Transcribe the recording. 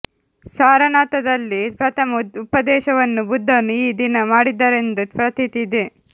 ಸಾರನಾಥದಲ್ಲಿ ಪ್ರಥಮ ಉಪದೇಶವನ್ನು ಬುದ್ಧನು ಈ ದಿನ ಮಾಡಿದರೆಂದು ಪ್ರತೀತಿ ಇದೆ